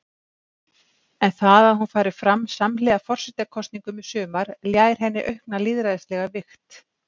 En það að hún fari fram samhliða forsetakosningum í sumar ljær henni aukna lýðræðislega vigt.